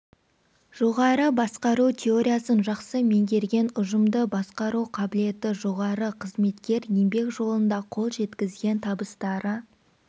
жоғары басқару теориясын жақсы меңгерген ұжымды басқару қабілеті жоғары қызметкер еңбек жолында қол жеткізген табыстары